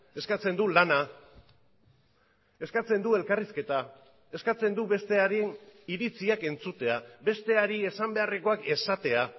eskatzen du lana eskatzen du elkarrizketa eskatzen du besteari iritziak entzutea besteari esan beharrekoak esatea